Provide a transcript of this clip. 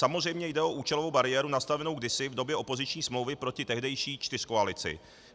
Samozřejmě jde o účelovou bariéru nastavenou kdysi v době opoziční smlouvy proti tehdejší čtyřkoalici.